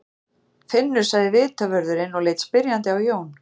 Finnur sagði vitavörðurinn og leit spyrjandi á Jón.